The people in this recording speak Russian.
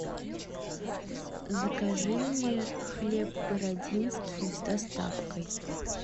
закажи мне хлеб бородинский с доставкой